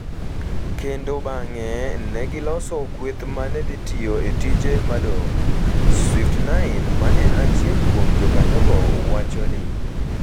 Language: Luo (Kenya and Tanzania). kendo bang’e ne giloso kweth ma ne dhi tiyo e tije madongo, Swift9, ma en achiel kuom jokanyogo wacho ni.